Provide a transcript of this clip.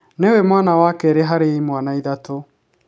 Nĩwe mwana wa kerĩ harĩ imwana ithatũ